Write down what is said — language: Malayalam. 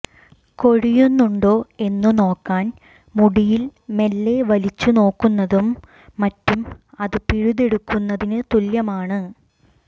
കൊഴിയുന്നുണ്ടോ എന്നു നോക്കാൻ മുടിയിൽ മെല്ലെ വലിച്ചു നോക്കുന്നതും മറ്റും അത് പിഴുതെടുക്കുന്നതിനു തുല്യമാണ്